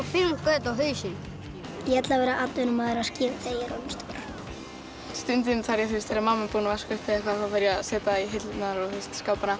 fimm göt á hausinn ég ætla að vera atvinnumaður á skíðum þegar ég er orðinn stór stundum þegar mamma er búin að vaska upp þá fer ég að setja í hillurnar og skápana